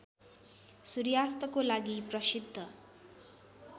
सूर्यास्तको लागि प्रसिद्ध